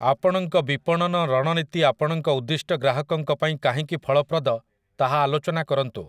ଆପଣଙ୍କ ବିପଣନ ରଣନୀତି ଆପଣଙ୍କ ଉଦ୍ଦିଷ୍ଟ ଗ୍ରାହକଙ୍କ ପାଇଁ କାହିଁକି ଫଳପ୍ରଦ, ତାହା ଆଲୋଚନା କରନ୍ତୁ ।